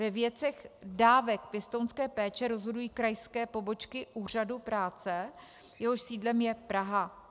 Ve věcech dávek pěstounské péče rozhodují krajské pobočky Úřadu práce, jehož sídlem je Praha.